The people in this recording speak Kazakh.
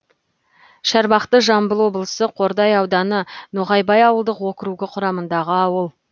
шарбақты жамбыл облысы қордай ауданы ноғайбай ауылдық округі құрамындағы ауыл